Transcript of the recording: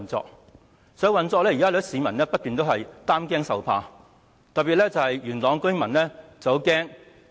在實際運作方面，有很多市民也一直擔驚受怕，特別是元朗的居民很擔心。